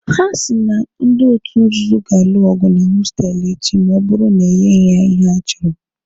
Ha si na ndị otu nzuzo ga-alụ ọgụ na hostelụ echi ma ọ bụrụ na enyeghị ha ihe ha chọrọ.